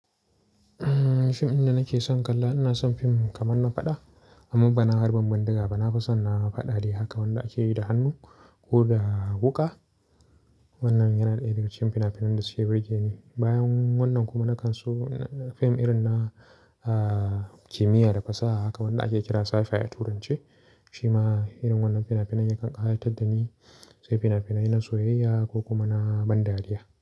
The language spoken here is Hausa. Fim din da nake son kalla, ina son fim kaman na faɗa amma bana harbin bindiga ba. Na fi son na faɗa de haka wanda ake yi da hannu ko da wuƙa. Wannan yana daya da ga cikin fina-finan da suke burge ni. Bayan wannan kuma nakan so fim irin na, ah, kimiyya da fasaha haka wanda ake kira Sci-fi a Turance. Shima irin wannan fina-finan yakan ƙayatar da ni sai fina-finai na soyayya ko kuma na ban dariya.